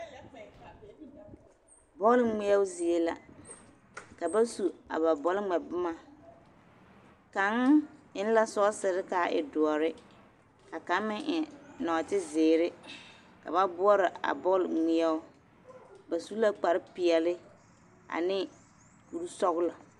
Bɔl ŋmeɛo zie la ka ba su a ba bɔlŋmɛ boma kaŋ eŋ la sɔɔsere ka a e doɔre ka kaŋ meŋ eŋ nɔɔteziiri ka ba boɔrɔ a bɔl ŋmeɛo ba su la kparpeɛle ane kursɔɡelɔ .